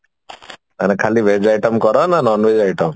କଣ ଖାଲି Veg item କର ନା non Veg item